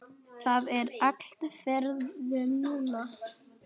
Það er allt farið núna.